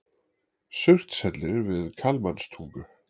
Surtshellir við Kalmanstungu.